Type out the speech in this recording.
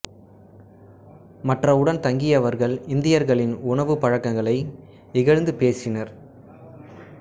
மற்ற உடன் தங்கியவர்கள் இந்தியர்களின் உணவுப் பழக்கங்களை இகழ்ந்து பேசினர்